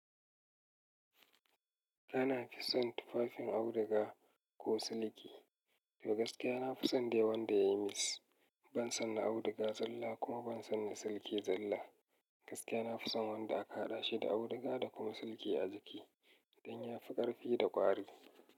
Dana fison tufafin auduga ko siliki. Ta gaskiya nafi son dai wanda ya yi mix. Ban son na auduga zalla kuma ban son na siliki zalla. Gaskiya nafi son wanda a kahaɗa shi da auduga da kuma siliki a jiki don ya fi ƙarfi da ƙwari.